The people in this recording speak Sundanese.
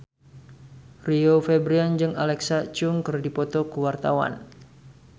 Rio Febrian jeung Alexa Chung keur dipoto ku wartawan